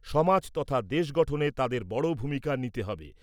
সমাজ তথা দেশ গঠনে তাদের বড় ভূমিকা নিতে হবে।